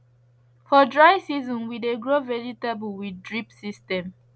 for dry season we dey grow vegetable with drip system